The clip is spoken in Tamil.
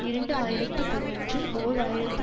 இரண்டு ஆயிரத்தி பதினொன்றில் ஓர் ஆயிரத்தி